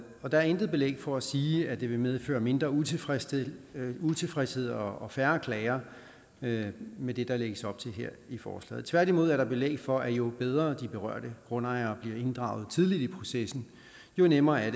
er intet belæg for at sige at det vil medføre mindre utilfredshed utilfredshed og og færre klager med med det der lægges op til her i forslaget tværtimod er der belæg for at jo bedre de berørte grundejere bliver inddraget tidligt i processen jo nemmere er